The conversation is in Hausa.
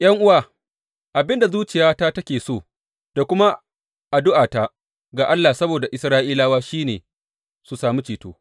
’Yan’uwa, abin da zuciyata take so da kuma addu’ata ga Allah saboda Isra’ilawa shi ne su sami ceto.